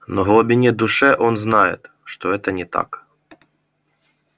но в глубине души он знает что это не так